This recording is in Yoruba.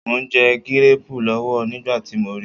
Mò ń jẹ gíréẹ̀pù lọ́wọ́ nígbà tí mo ri